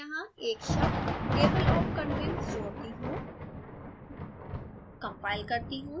add मैं यहाँ एक शब्द table of contents जोड़ती हूँ